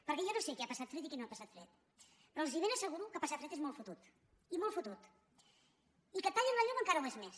perquè jo no sé qui ha passat fred i qui no ha passat fred però els ben asseguro que passar fred és molt fotut i molt fotut i que et tallin la llum encara ho és més